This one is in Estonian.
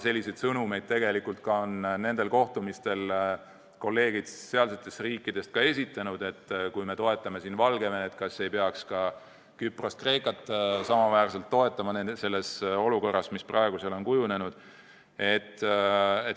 Selliseid sõnumeid on nendel kohtumistel kolleegid nendest riikidest ka esitanud, et kui me toetame Valgevenet, kas ei peaks ka Küprost ja Kreekat olukorras, mis praegu seal on kujunenud, samaväärselt toetama.